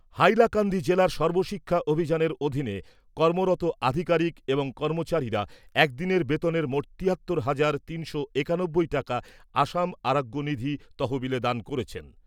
হাইলাকান্দি জেলার সর্বশিক্ষা অভিযানের অধীনে কর্মরত আধিকারিক এবং কর্মচারীরা একদিনের বেতনের মোট তিয়াত্তর হাজার তিনশো একানব্বই টাকা আসাম আরোগ্য নিধি তহবিলে দান করেছেন।